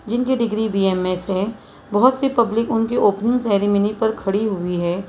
जिनकी degree B M S है बहुत सी पब्लिक उनके ओपनिंग सेरेमनी पर खड़ी हुई है।